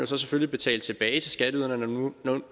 selvfølgelig betale tilbage til skatteyderne når nu man